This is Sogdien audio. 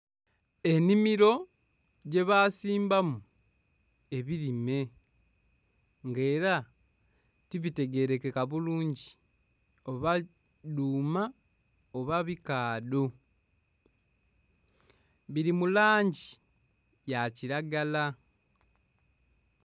Ennhimiro gyebasimbamu ebirime nga era tibitegerekeka bulungi oba dhuuma oba bikaadho, biri mu langi ya kiragala.